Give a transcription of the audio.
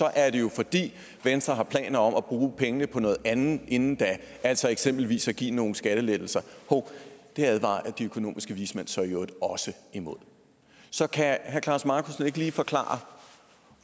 er det jo fordi venstre har planer om at bruge pengene på noget andet inden da altså eksempelvis at give nogle skattelettelser hov det advarer de økonomiske vismænd så i øvrigt også imod så kan herre klaus markussen ikke lige forklare